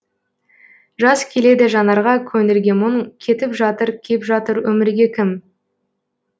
жас келеді жанарға көңілге мұң кетіп жатыр кеп жатыр өмірге кім